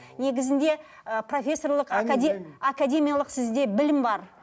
негізінде ы профессорлық академиялық сізде білім бар